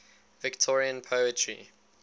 victorian poetry